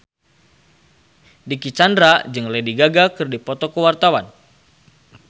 Dicky Chandra jeung Lady Gaga keur dipoto ku wartawan